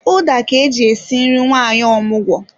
Ụda ka eji esi nri nwanyị omụgwọ